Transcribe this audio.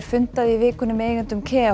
fundaði í vikunni með eigendum